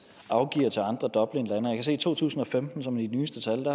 afgiver til andre dublinlande og jeg se i to tusind og femten som de nyeste tal